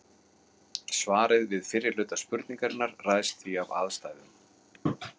Svarið við fyrri hluta spurningarinnar ræðst því af aðstæðum.